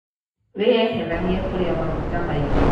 Wĩyeheranie kurĩa maguta maingĩ.